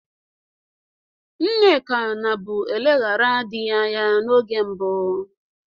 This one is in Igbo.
Nneka nabụ elegharịa dị ya anya n'oge mbụ.